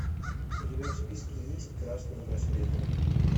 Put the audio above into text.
у тебя в списке есть красные браслеты